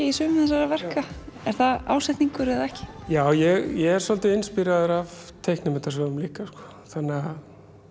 í sumum þessara verka er það ásetningur eða ekki já ég er svolítið inspíreraður af myndasögum líka sko þannig að